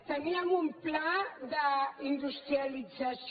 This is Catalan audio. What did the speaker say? teníem un pla d’industrialització